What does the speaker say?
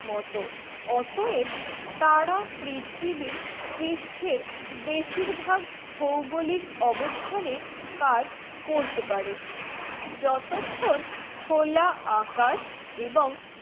মতো অটোয়া তারা পৃথ্বীর পৃষ্টের বেশি ভায়াক ভৌগোলিক অবস্থানে কাজ করতে পারে যতক্ষণ খোলা আকাশ এবং